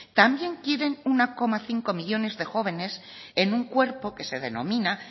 también quieren uno coma cinco millónes de jóvenes en un cuerpo que se denomina